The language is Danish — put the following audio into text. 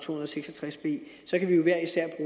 hundrede og seks og tres b så kan vi jo hver især